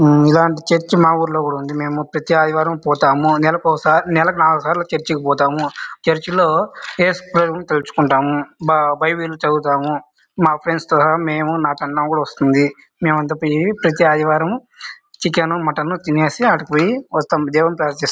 ఆమ్ ఇలాంటి చర్చి మా ఊర్లో కూడా ఉంది. మేము ప్రతి ఆదివారం పోతాము. నెలకోసారి నెలకు నాలుగు సార్లు చర్చి కి పోతాము. చర్చి లో ఏసుప్రభుని తలుచుకుంటాము. బా బైబిల్ చదువుతాము. మా ఫ్రెండ్స్ తో నేను నా కన్నా కూడా వస్తుంది. మేమంతా పోయి ప్రతి ఆదివారము చికెన్ మటన్ తినేసి ఆడకు పోయి వస్తాము. దేవునికి ప్రార్థిస్తా--